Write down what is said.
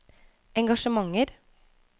engasjementer